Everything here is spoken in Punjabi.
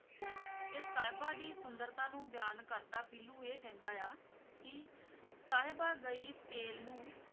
ਤੇ ਸਾਹਿਬਾਂ ਦੀ ਸੁੁੰਦਰਤਾ ਨੂੰ ਬਿਆਨ ਕਰਦਾ ਪੀਲੂ ਇਹ ਕਹਿੰਦਾ ਹੈ ਕਿ ਸਾਹਿਬਾ ਗਈ ਤੇੇਲ ਨੂੰ,